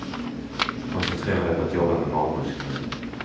Koncentrera dig på att jobba med magmusklerna.